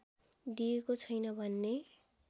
दिएको छैन भन्ने